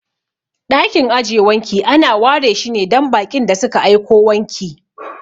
Ɗakin aje wanki ana ware shine dan baƙin da suka aiko wanki.